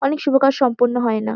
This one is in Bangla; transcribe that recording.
অনেক শুভ কাজ সম্পন্ন হয় না।